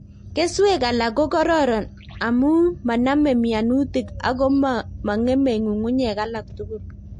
Keswek alak ko kororon amu manamei mianutik ak ko mong'emei ng'ungunyek alak tugul